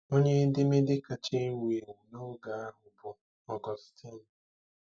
Onye edemede kacha ewu ewu n'oge ahụ bụ Augustine.